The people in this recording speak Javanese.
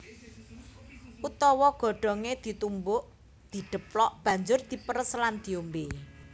Utawa godhongé ditumbuk/didheplok banjur diperes lan diombé